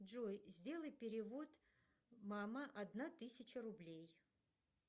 джой сделай перевод мама одна тысяча рублей